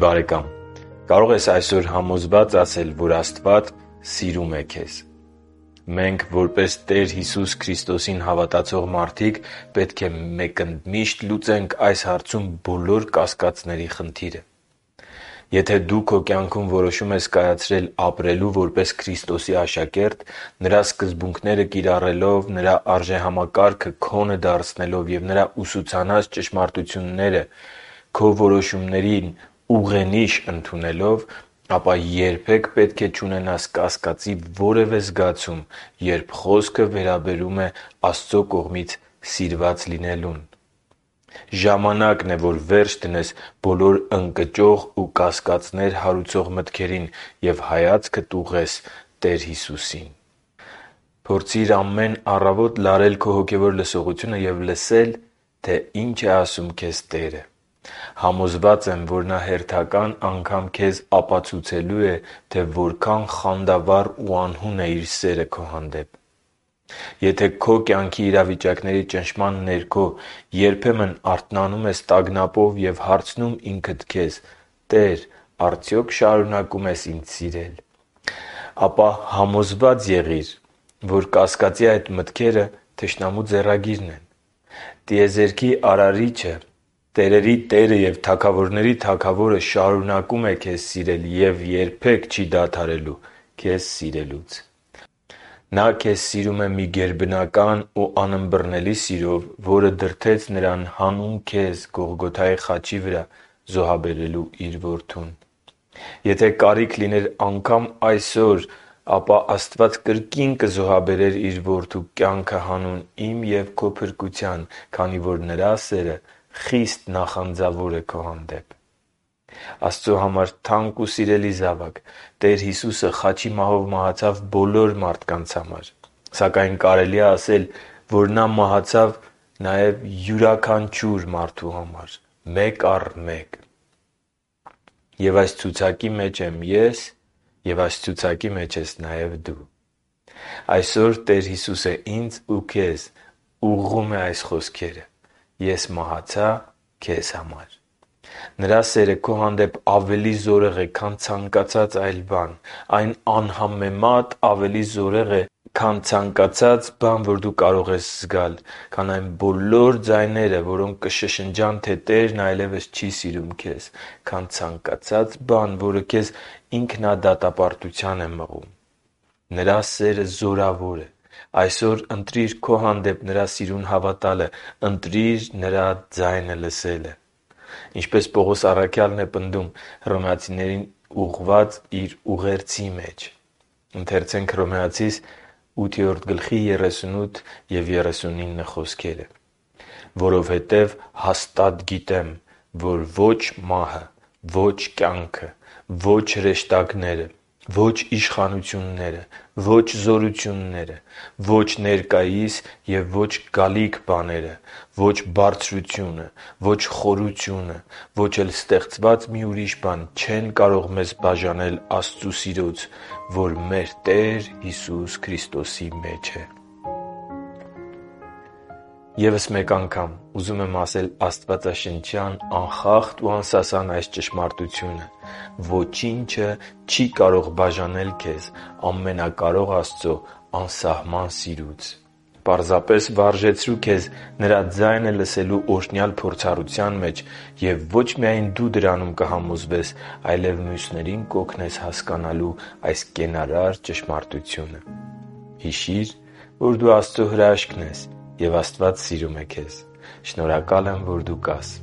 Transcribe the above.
բարեկամ, կարո՞ղ ես այսօր համոզված ասել, որ Աստված սիրում է քեզ։ Մենք, որպես Տեր Հիսուս Քրիստոսին հավատացող մարդիկ, պետք է մեկընդմիշտ լուծենք այս հարցում բոլոր կասկածների հարցը։ Եթե դու քո կյանքում որոշում ես կայացրել ապրելու որպես Քրիստոսի աշակերտ՝ Նրա սկզբունքները կիրառելով, Նրա արժեհամակարգը քոնը դարձնելով և Նրա ուսուցանած ճշմարտությունները քո որոշումների ուղենիշ ընդունելով, ապա երբեք պետք է չունենաս կասկածի որևէ զգացում, երբ խոսքը վերաբերվում է Աստծո կողմից սիրված լինելուն։ Ժամանա՛կն է, որ վերջ դնես բոլոր ընկճող ու կասկածներ հարուցող մտքերին և հայացքդ ուղղես Տեր Հիսուսին։ Փորձի՛ր ամեն առավոտ լարել քո հոգևոր լսողությունը և լսել, թե ինչ է ասում քեզ Տերը։ Համոզված եմ, որ Նա հերթական անգամ քեզ ապացուցելու է, թե որքան խանդավառ ու անհուն է Իր սերը քո հանդեպ։ Եթե քո կյանքի իրավիճակների ճնշման ներքո երբեմն արթնանում ես տագնապով և հարցնում ինքդ քեզ. «Տե՜ր, արդյո՞ք շարունակում ես սիրել ինձ», ապա համոզված եղիր, որ կասկածի այդ մտքերը թշնամու ձեռագիրն են։ Տիեզերքի Արարիչը՝ տերերի Տերը և թագավորների Թագավորը շարունակո՛ւմ է քեզ սիրել և երբե՛ք չի դադարելու քեզ սիրելուց։ Նա քեզ սիրում է մի գերբնական ու անըմբռնելի սիրով, որը դրդեց Նրան հանուն քեզ Գողգոթայի խաչի վրա զոհաբերելու Իր Որդուն։ Եթե կարիք լիներ անգամ այսօր, ապա Աստված կրկին կզոհաբերեր Իր Որդու կյանքը հանուն իմ և քո փրկության, քանի որ Նրա սերը խիստ նախանձավոր է քո հանդեպ։ Աստծո համար թանկ ու սիրելի զավա՛կ, Տեր Հիսուսը խաչի մահով մահացավ բոլոր մարդկանց համար, սակայն կարելի է ասել, որ Նա մահացավ յուրաքանչյուր մարդու համար՝ մեկ առ մեկ… Եվ այս ցուցակի մեջ եմ ես, և այս ցուցակի մեջ ես նաև դու։ Այսօր Տեր Հիսուսը ինձ և քեզ է ուղղում այս խոսքերը. «Ես մահացա քե՛զ համար»։ Նրա սերը քո հանդեպ ավելի զորեղ է, քան ցանկացած այլ բան։ Այն անհամեմատ ավելի զորավոր է, քան․․․ - ցանկացած բան, որ դու կարող ես զգալ, - այն բոլոր ձայները, որոնք կշշնջան, թե Տերն այլևս չի սիրում քեզ, - ցանկացած բան, որը ինքնադատապարտության է մղում քեզ։ Նրա սերը զորավո՛ր է։ Այսօր, ընտրիր քո հանդեպ Նրա սիրուն հավատալը։ Ընտրի՛ր Նրա ձայնը լսելը։ Ինչպես Պողոս առաքյալն է պնդում Հռոմեացիներին ուղղված իր ուղերձի մեջ. «Որովհետև հաստատ գիտեմ, որ ո՛չ մահը, ո՛չ կյանքը, ո՛չ հրեշտակները, ո՛չ իշխանությունները, ո՛չ զորությունները, ո՛չ ներկայիս և ո՛չ գալիք բաները, ո՛չ բարձրությունը, ո՛չ խորությունը, ո՛չ էլ ստեղծված մի ուրիշ բան չեն կարող մեզ բաժանել Աստծու սիրուց, որ մեր Տեր Հիսուս Քրիստոսի մեջ է» (Հռոմեացիներին 8.38-39): Եվս մեկ անգամ ուզում եմ ասել աստվածաշնչյան անխախտ ու անսասան այս ճշմարտությունը՝ ոչինչը չի կարող բաժանել քեզ Ամենակարող Աստծո անսահման սիրուց։ Պարզապես վարժեցրու քեզ Նրա ձայնը լսելու օրնյալ փորձառության մեջ և ոչ միայն դու դրանում կհամոզվես, այլև մյուսներին կօգնես հասկանալու այս կենարար ճշմարտությունը։ Հիշի՛ր, որ դու Աստծո հրաշքն ես, և Աստված սիրում է քեզ։ Շնորհակալ եմ, որ դու կա՛ս։